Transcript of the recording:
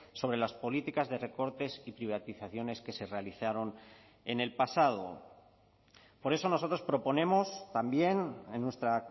sobre las políticas de recortes y privatizaciones que se realizaron en el pasado por eso nosotros proponemos también en nuestra